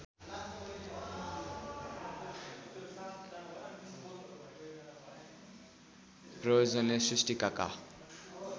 प्रयोजनले सृष्टिकाका